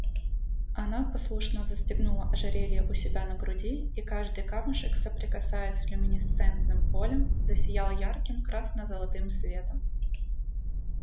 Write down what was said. она послушно застегнула ожерелье у себя на груди и каждый камушек соприкасаясь с люминесцентным полем засиял ярким красно-золотым светом